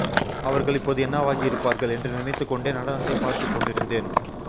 அவர்கள் இப்போது என்னவாகியிருப்பார்கள் என்று நினைத்து கொண்டே நடனத்தை பார்த்து கொண்டிருந்தேன்